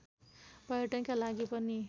पर्यटनका लागि पनि